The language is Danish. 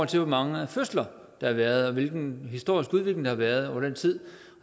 til hvor mange fødsler der har været og hvilken historisk udvikling der har været over tid